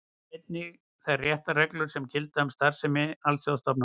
Einnig þær réttarreglur sem gilda um starfsemi alþjóðastofnana.